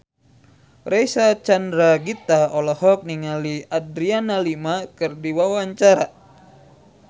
Reysa Chandragitta olohok ningali Adriana Lima keur diwawancara